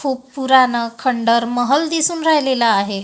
खूप पुराण खंडर महल दिसून राहिलेलं आहे.